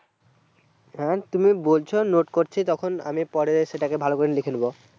হ্যাঁ তুমি বলছো note করছি তখন পরে সেটাকে ভালো করে লিখে নেবো